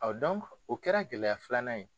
O o kɛra gɛlɛya filanan ye.